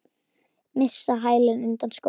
Missa hælinn undan skónum.